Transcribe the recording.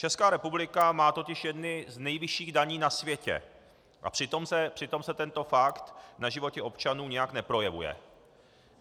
Česká republika má totiž jedny z nejvyšších daní na světě, a přitom se tento fakt na životě občanů nijak neprojevuje.